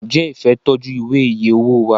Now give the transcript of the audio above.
njé Ifẹ ń tọjú Ìwé iye owó wá?